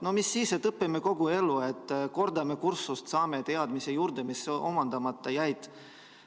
No ja siis – õpime kogu elu, kordame kursust, saame hiljem juurde teadmisi, mis omandamata jäid.